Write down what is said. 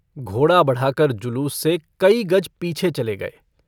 घोड़ा बढ़ाकर जुलूस से कई गज पीछे चले गये।